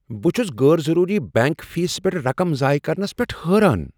بہٕ چُھس غٲر ضروری بینک فیس پیٹھ رقم زایہِ كرنس پیٹھ حٲران ۔